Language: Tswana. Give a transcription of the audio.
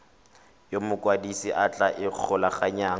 yo mokwadise a tla ikgolaganyang